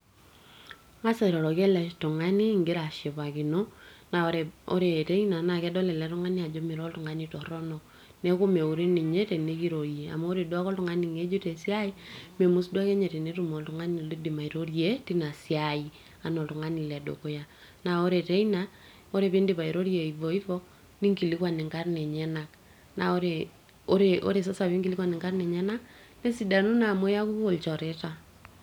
ing'as airoroki ele tung'ani ingira ashipakino naa ore teina naa kedol ele tung'ani ajo mira oltung'ani torronok neeku meure ninye tenikirorie amu ore duake oltung'ani ng'ejuk tesiai memus duake ninye tenetum oltung'ani loidim airorie tina siai anaa oltung'ani ledukuya naa ore teina ore pindip airorie hivo hivo ninkilikuan inkarrn enyenak naa ore, ore sasa pinkilikuan inkarrn enyenak nesidanu naa amu iyakuku ilchoreta.